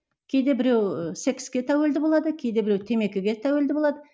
кейде біреуі секске тәуелді болады кейде біреуі темекіге тәуелді болады